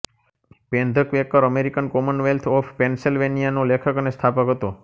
pen the Quaker American Commonwealth of Pennsylvania નો લેખક અને સ્થાપક હતો